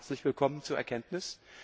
Ja, herzlich willkommen zur Erkenntnis!